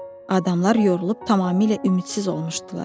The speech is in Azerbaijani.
Adamlar yorulub tamamilə ümidsiz olmuşdular.